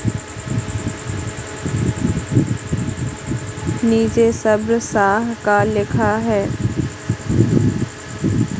नीचे सब्र सा का लिखा है।